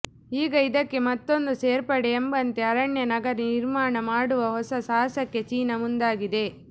ಈಗ ಇದಕ್ಕೆ ಮತ್ತೊಂದು ಸೇರ್ಪಡೆ ಎಂಬಂತೆ ಅರಣ್ಯ ನಗರ ನಿರ್ಮಾಣ ಮಾಡುವ ಹೊಸ ಸಾಹಸಕ್ಕೆ ಚೀನಾ ಮುಂದಾಗಿದೆ